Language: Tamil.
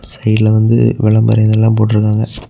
சைடுல வந்து விளம்பர இதெல்லாம் போட்டு இருக்காங்க.